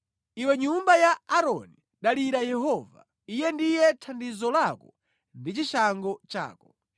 Iwe nyumba ya Aaroni, dalira Yehova; Iye ndiye thandizo lako ndi chishango chako.